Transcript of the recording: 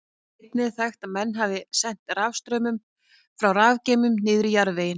Einnig er þekkt að menn hafi sent rafstraum frá rafgeymum niður í jarðveginn.